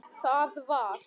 Það var.